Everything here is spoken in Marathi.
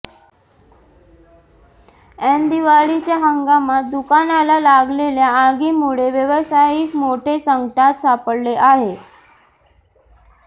एन दिवाळीच्या हंगामात दुकानाला लागलेल्या आगी मुळे व्यावसायिक मोठे संकटात सापडले आहे